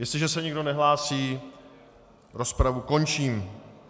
Jestliže se nikdo nehlásí, rozpravu končím.